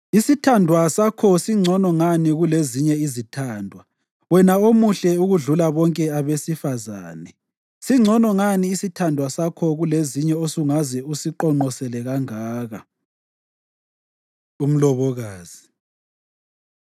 Isithandwa sakho singcono ngani kulezinye izithandwa wena omuhle okudlula bonke abesifazane? Singcono ngani isithandwa sakho kulezinye osungaze usiqonqosele kangaka? Umlobokazi